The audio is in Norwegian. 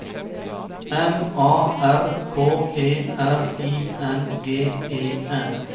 M A R K E R I N G E N